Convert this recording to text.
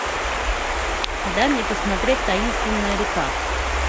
дай мне посмотреть таинственная река